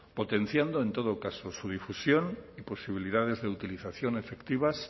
potenciando en todo caso su difusión y posibilidades de utilización efectivas